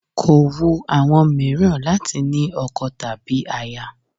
Kò wu àwọn mìíràn láti ní ọkọ tàbí aya